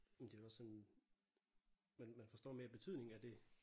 Men det er jo også sådan man man forstår mere betydningen af det